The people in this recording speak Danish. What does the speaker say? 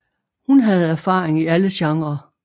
Hun havde erfaring i alle genrer